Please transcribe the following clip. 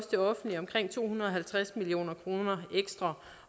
det offentlige omkring to hundrede og halvtreds million kroner ekstra